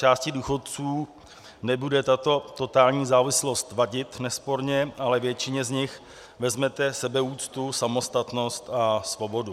Části důchodců nebude tato totální závislost vadit, nesporně ale většině z nich vezmete sebeúctu, samostatnost a svobodu.